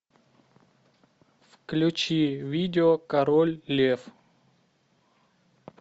включи видео король лев